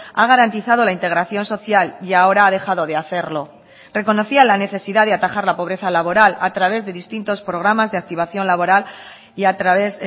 ha garantizado la integración social y ahora ha dejado de hacerlo reconocía la necesidad de atajar la pobreza laboral a través de distintos programas de activación laboral y a través